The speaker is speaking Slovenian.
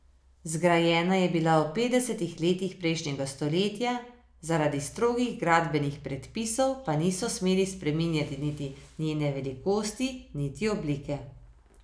Zgrajena je bila v petdesetih letih prejšnjega stoletja, zaradi strogih gradbenih predpisov, pa niso smeli spreminjati niti njene velikosti niti oblike.